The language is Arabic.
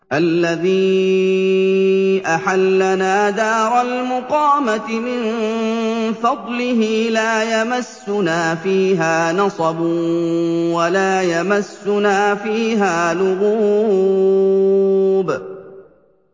الَّذِي أَحَلَّنَا دَارَ الْمُقَامَةِ مِن فَضْلِهِ لَا يَمَسُّنَا فِيهَا نَصَبٌ وَلَا يَمَسُّنَا فِيهَا لُغُوبٌ